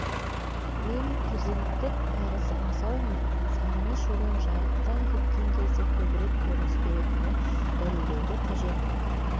мен перзенттік парыз аңсау мен сағыныш одан жыраққа кеткен кезде көбірек көрініс беретіні дәлелдеуді қажет